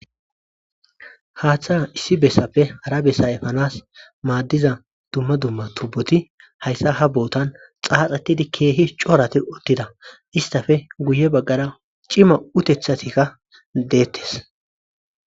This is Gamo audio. Haaththa issi bessappe ara bessa efanas maaddiza dumma dumma tubboti hayssa ha bootan xaaxetidi keehi coorati uttida. Istappee guye baggara cima utethatikka deettes.